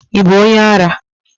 Ị bụ onye ara?